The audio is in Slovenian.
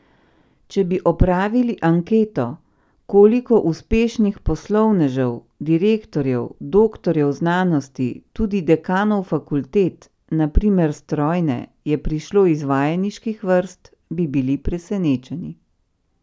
Če bi opravili anketo, koliko uspešnih poslovnežev, direktorjev, doktorjev znanosti, tudi dekanov fakultet, na primer strojne, je prišlo iz vajeniških vrst, bi bili presenečeni.